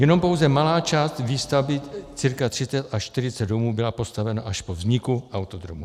Jenom pouze malá část výstavby, cca 30 až 40 domů, byla postavena až po vzniku autodromu.